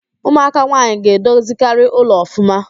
Ụmụaka nwaanyị ga-edozikarị ụlọ ọfụma